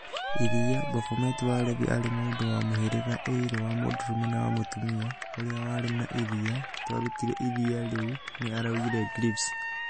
Iria, Baphomet wa Levi arĩ mũndũ wa mũhĩriga ĩrĩ wa mũndũrume na mũtumia ũrĩa warĩ na iria, nĩtwarutire iria rĩu, ni araugire Greaves.